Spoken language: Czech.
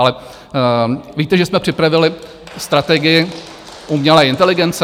Ale víte, že jsme připravili strategii umělé inteligence?